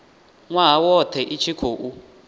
nwaha wothe i tshi khou